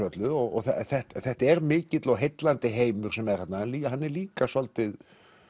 öllu og þetta er mikill og heillandi heimur sem er þarna hann er líka svolítið